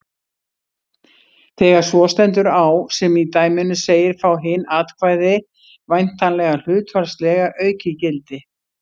Þegar svo stendur á sem í dæminu segir fá hin atkvæði væntanlega hlutfallslega aukið gildi.